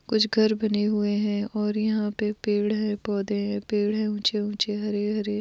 कुछ घर बने हुए है और यहाँ पे पेड़ है पौधे है पेड़ है उँचे-उँचे हरे-हरे ।